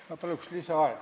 Ma palun lisaaega!